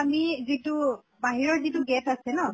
আমি যিটো বাহিৰৰ যিটো gate আছে ন